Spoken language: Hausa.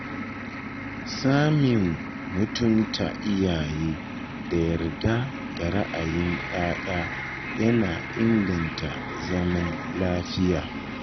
Samun mutunta iyaye da yarda da ra’ayin ‘ya’ya yana inganta zaman lafiya.